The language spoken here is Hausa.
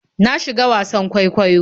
Na shiga wasan kwaikwayon.